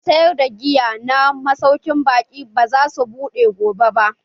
Gidan sayar da giya na masaukin baƙi ba za su buɗe gobe ba.